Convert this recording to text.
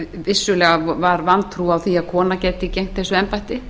vissulega var vantrú á að kona gæti gegnt þessu embætti